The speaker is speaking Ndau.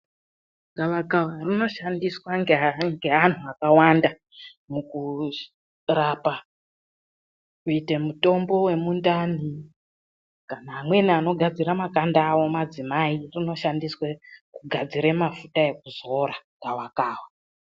Gawakawa rinoshandiswa ngeantu akawanda mukurapa kuitei mutombo wemundani kana amweni anogadzire makanda awo madzimai rinoshandiswe kugadzire mafuta ekuzora gawakawa.